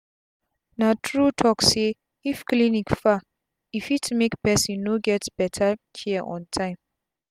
na true talk say if clinic far e fit make pesin no get beta care on tym